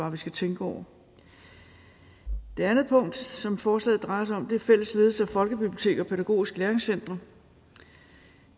at vi skal tænke over det andet punkt som forslaget drejer sig om er fælles ledelse af folkebiblioteker og pædagogiske læringscentre